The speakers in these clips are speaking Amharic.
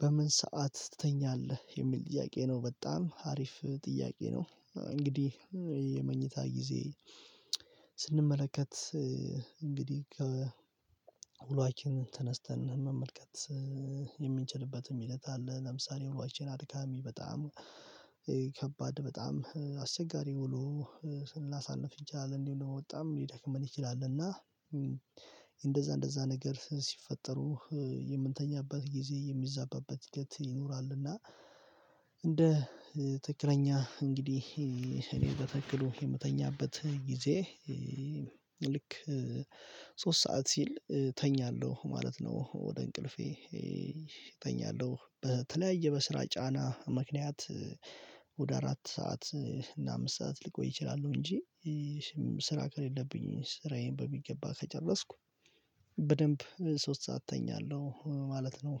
በምን ሰዓት ትተኛለህ? የሚል ጥያቄ ነው በጣም አሪፍ ጥያቄ ነው እንግዲህ የመኝታ ጊዜ ስንመለከት እንግዲህ ከውሏችን ተነስተን መመልከት የምንችልበትም ሂደት አለ ለምሳሌ ውሏችን አድካሚ በጣም ከባድ በጣም አስቸጋሪ ውሎ ስናሳንፍ እጃል እንዲሆን ነው የመወጣም ሊደክመን ይችላል እና እንደዛ እንደዛ ነገር ሲፈጠሩ የምንተኛበት ጊዜ የሚዛባበት እለት ይኖራልና እንደ ትክክለኛ እንግዲህ እኔ በትክክሉ የምተኛበት ጊዜ ልክ ሶስት ሰዓት ሲል እተኛለሁ ማለት ነው ወደ እንቅልፌ እተኛለሁ በተለያየ በስራ ጫና ምክንያት ወደ አራት ሰዓት እና አምስት ሰዓት ልቆይ እችላለሁ እንጂ ስራ ከሌለብኝ ስራዬን በሚገባ ከጨረስኩ በደንብ ሶስት ሰዓት እተኛለሁ ማለት ነው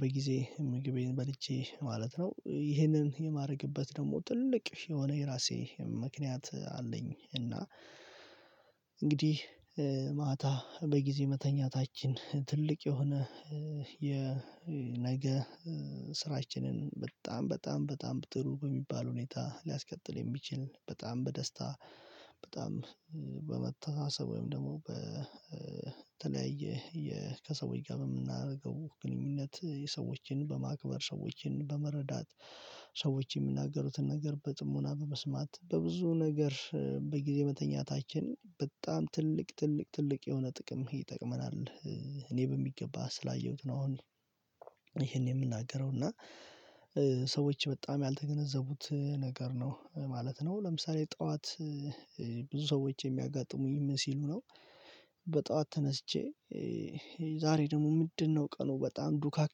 በጊዜ ምግቤን በልቼ ማለት ነው ይህንን የማደርግበት ደግሞ ትልቅ የሆነ የራሴ ምክንያት አለኝ እና እንግዲህ ማታ በጊዜ መተኛታችን ትልቅ የሆነ የነገ ስራችንን በጣም በጣም በጣም በጥሩ በሚባል ሁኔታ ሊያስቀጥል የሚችል በጣም በደስታ በጣም በመታሰብ ወይም ደግሞ በተለያየ ከሰዎች ጋር የምናደርገው ግንኙነት የሰዎችን በማክበር ሰዎችን በመረዳት ሰዎች የሚናገሩትን ነገር በጽሞና በመስማት በብዙ ነገር በጊዜ መተኛታችን በጣም ትልቅ ትልቅ ትልቅ የሆነ ጥቅም ይጠቅመናል እኔ በሚገባ ስላየሁት ነው አሁን ይሄን የምናገረው እና በጣም ያልተገነዘቡት ነገር ነው ማለት ነው ለምሳሌ ጠዋት ብዙ ሰዎች የሚያጋጥሙኝ ምን ሲሉ ነው በጧት ተነስቼ ዛሬ ደግሞ ምንድነው ቀኑ በጣም ዱካክ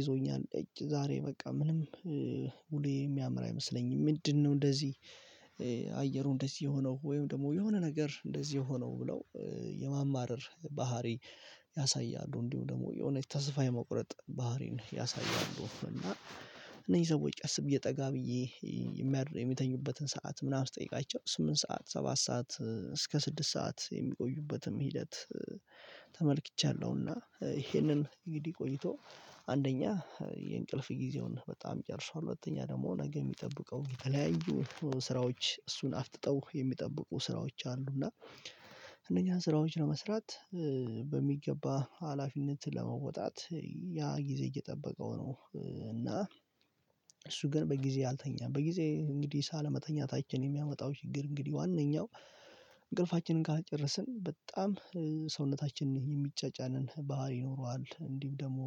ይዞኛል ኤጭ ዛሬ በቃ ምንም ውሎየ የሚያምር አይመስለኝም ምንድነው እንደዚህ አየሩ እንደዚህ የሆነው ወይም ደግሞ የሆነ ነገር እንደዚህ የሆነው ብለው የማማረር ባህሪ ያሳያሉ እንዲሁ ደግሞ የእውነት ተስፋ የመቁረጥ ባህሪን ያሳያሉ እና እነዚህ ሰዎች አስቤ ጠጋ ብዬ የሚያደ የሚተኙበትን ሰዓት ምናምን ስጠይቃቸው ስምንት ሰዓት ሰባት ሰዓት እስከ ስድስት ሰዓት የሚቆዩበትም ሂደት ተመልክቻለሁና ይሄንን እንግዲህ ቆይቶ አንደኛ የእንቅልፍ ጊዜውን በጣም ጨርሷል ሁለተኛ ደግሞ ነገ የሚጠብቀው የተለያዩ ስራዎች እሱን አፍጥጠው የሚጠብቁ ስራዎች አሉ እና እነኚህን ስራዎች ለመስራት በሚገባ ሀላፊነት ለመውጣት ያ ጊዜ እየጠበቀው ነው እና እሱ ግን በጊዜ አልተኛም በጊዜ እንግዲህ ባለመተኛታችን የሚያመጣው ችግር እንግዲህ ዋናው እንቅልፋችንን ካልጨረስን በጣም ሰውነታችንን የሚጫጫንን ባህሪ ይኖረዋል እንዲህም ደግሞ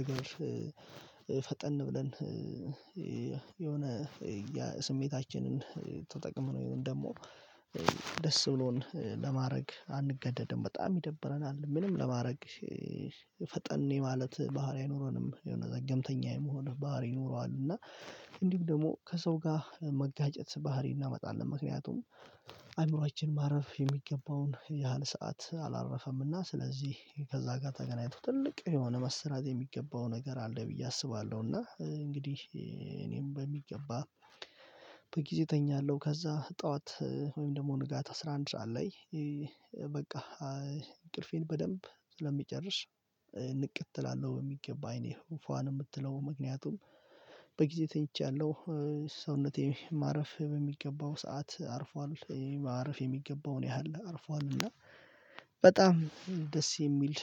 ነገር ፈጠን ብለን የሆነ የስሜታችንን ተጠቅመነው ይሄን ደግሞ ደስ ብሎን ለማድረግ አንገደድም በጣም ይደብረናል ምንም ለማድረግ ፈጠን የማለት ባህሪ አይኖረንም የሆነ ዘገምተኛ የመሆን ባህሪ ይኖረዋል እና እንዲሁ ደግሞ ከሰው ጋር መጋጨት ባህሪ እናመጣለን ምክንያቱም አእምሮአችን ማረፍ የሚገባውን ያህል ሰዓት አላረፈምና ስለዚህ ከዛ ጋር ተገናኝቶ ትልቅ የሆነ መሰራት የሚገባው ነገር አለ ብዬ አስባለሁ እና እንግዲህ እኔም በሚገባ በጊዜ እተኛለሁ ከዛ ጠዋት ወይም ደግሞ ንጋት አስራ አንድ በቃ እንቅልፌን በደንብ ስለምጨርሽ ንቅት እላለሁ የሚገባ አይኔ ፏ ነው የምትለው ምክንያቱም ተኝቻለሁ ሰውነቴ ማረፍ በሚገባው ሰዓት አርፏል ማረፍ የሚገባውን ያህል አርፏልና በጣም ደስ የሚል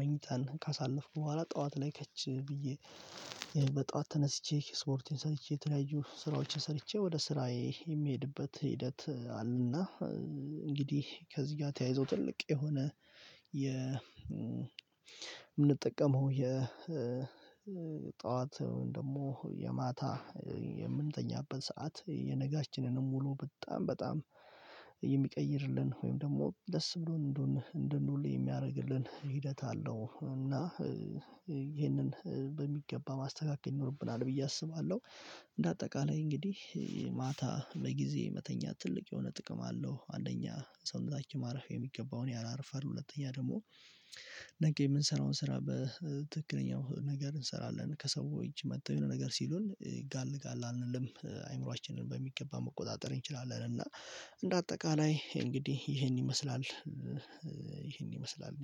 መኝታን ካሳለፍኩ በኋላ ጠዋት ላይ ከች ብዬ በጠዋት ተነስቼ ስፖርቴን ሰርቼ የተለያዩ ስራዎችን ሰርቼ ወደ ስራዬ የምሄድበት ሂደት አለና እንግዲህ ከዚህ ጋር ተያይዞ ትልቅ የሆነ የምንጠቀመው የጠዋት ጠዋት ደግሞ የማታ የምንተኛበት ሰዓት የነጋችንንም ሙሉ በጣም በጣም የሚቀይርልን ወይም ደግሞ ደስ ብሎን እንድንውል የሚያደርግልን ሂደት አለው እና ይሄንን በሚገባ ማስተካከል ይኖርብናል ብዬ አስባለሁ እንደ አጠቃላይ እንግዲህ ማታ በጊዜ መተኛት ትልቅ የሆነ ጥቅም አለው አንደኛ ሰውታችን ማረፊያ የሚገባውን ያህል ያርፋል ሁለተኛ ደግሞ ነገ የምንሰራውን ስራ በትክክለኛው ነገር እንሰራለን ከሰዎች መጥተው የሆነ ነገር ሲሉን ይጋልጋል አንልም አእምሮአችንን በሚገባ መቆጣጠር እንችላለን እና እንደ አጠቃላይ እንግዲህ ይሄን ይመስላል ይሄን ይመስላል ነኝ